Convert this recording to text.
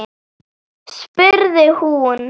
spurði hún.